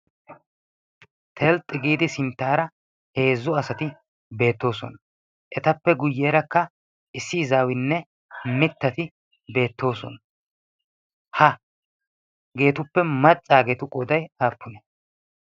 telxxi giidi sinttaara heezzu asati beettoosona. ettappe guyyerakka issi izzawunne miittati beettosona. hageetuppe maccagetu qooday aappunee?